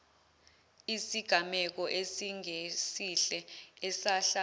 isigameko esingesihle esehla